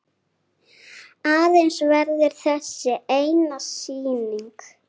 Aðeins verður þessi eina sýning.